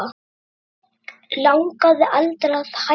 Mig langaði aldrei að hætta